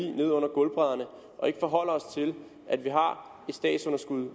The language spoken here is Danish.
ned under gulvbrædderne og ikke forholder os til at vi har et statsunderskud